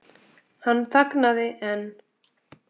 Hann þagnaði en